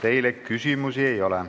Teile küsimusi ei ole.